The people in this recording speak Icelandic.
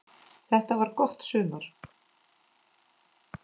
Þetta var gott sumar.